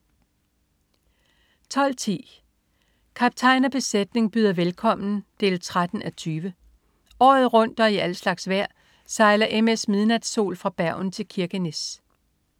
12.10 Kaptajn og besætning byder velkommen 13:20. Året rundt og i al slags vejr sejler MS "Midnatsol" fra Bergen til Kirkenes